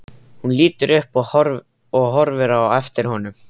Hún lítur upp og horfir á eftir honum.